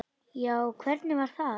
Já, hvernig var það?